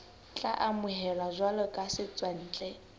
tla amohelwa jwalo ka setswantle